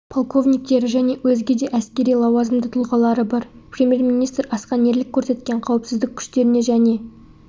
полковниктері және өзге де әскери лауазымды тұлғалары бар премьер-министр асқан ерлік көрсеткен қауіпсіздік күштеріне және